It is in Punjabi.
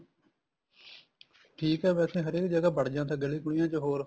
ਠੀਕ ਆ ਵੈਸੇ ਹਰ ਇੱਕ ਜਗ੍ਹਾ ਬੜ ਜਾਂਦਾ ਜਿੱਥੇ ਗਲੀਆਂ ਗੁਲੀਆਂ ਚ ਹੋਰ